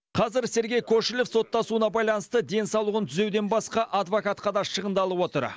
қазір сергей кошелев соттасуына байланысты денсаулығын түзеуден басқа адвокатқа да шығындалып отыр